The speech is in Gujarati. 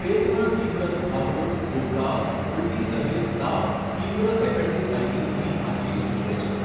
પેટમાં તીવ્ર દુખાવો, ઉબકા, ઉલટી સહીત તાવ તીવ્ર એપેન્ડિસાઈટિસની હાજરી સૂચવે છે.